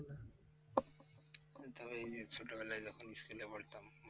তবে এই যে ছোটোবেলায় যখন school এ পড়তাম,